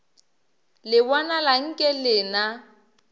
le bonala nke le na